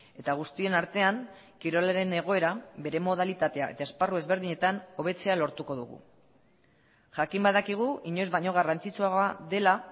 eta guztien artean kirolaren egoera bere modalitatea eta esparru ezberdinetan hobetzea lortuko dugu jakin badakigu inoiz baino garrantzitsuagoa dela